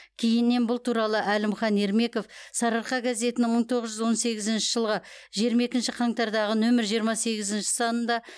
кейіннен бұл туралы әлімхан ермеков сарыарқа газетінің мың тоғыз жүз он сегізінші жылғы жиырма екінші қаңтардағы нөмір жиырма сегізінші санында